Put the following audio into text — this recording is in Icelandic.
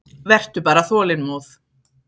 Vertu bara þolinmóð.